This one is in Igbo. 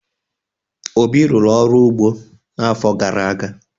Obi rụrụ ọrụ ugbo n'afọ gara aga.